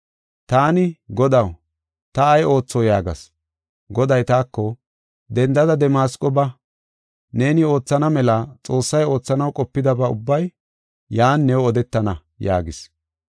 “Taani, ‘Godaw, ta ay ootho?’ yaagas. “Goday taako, ‘Dendada Damasqo ba. Neeni oothana mela Xoossay oothanaw qopidaba ubbay yan new odetana’ yaagis.